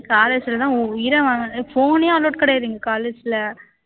college ல தான் உ உயிரை வாங்குறாங்க phone ஏ allowed கிடையாது எங்க college ல